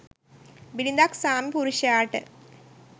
බිරිඳක් ස්වාමිපුරුෂයාට